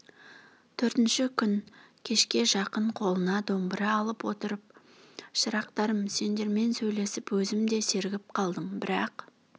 төртінші күн кешке жақын қолына домбыра алып отырып шырақтарым сендермен сөйлесіп өзім де сергіп қалдым бірақ